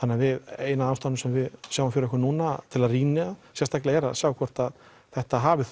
ein af ástæðunum sem við sjáum fyrir okkur núna til að rýna er að sjá hvort að þetta hafi